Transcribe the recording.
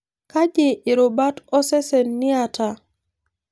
Kaji irubat osesen niata?